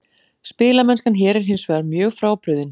Spilamennskan hér er hinsvegar mjög frábrugðin.